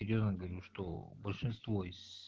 серьёзно говорю что большинство из